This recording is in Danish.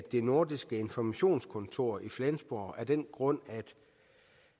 det nordiske informationskontor i flensborg af den grund